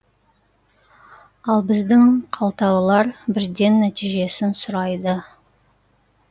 ал біздің қалталылар бірден нәтижесін сұрайды